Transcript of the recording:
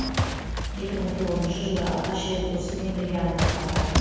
екі мың тоғызыншы жылы алғаш рет досыммен бірге алматыға бардық